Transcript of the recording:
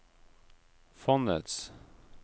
fondets